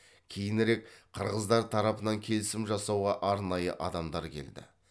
кейінірек қырғыздар тарапынан келісім жасауға арнайы адамдар келді